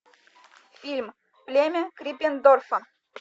фильм племя криппендорфа